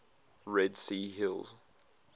red sea hills